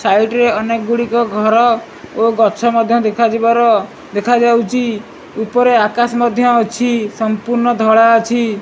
Side ରେ ଅନେକ ଗୁଡ଼ିକ ଘର ଓ ଗଛ ମଧ୍ୟ ଦେଖା ଯିବାର ଦେଖାଯାଉଛି ଉପରେ ଆକାଶ୍ ମଧ୍ୟ ଅଛି ସଂପୂର୍ଣ୍ଣ ଧଳା ଅଛି।